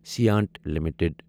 Saint limited